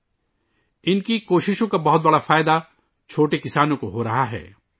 چھوٹے کسانوں کو ، ان کی کوششوں کا بہت زیادہ فائدہ مل رہا ہے